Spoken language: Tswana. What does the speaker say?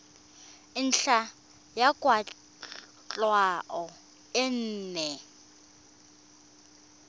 ntlha ya kwatlhao e nngwe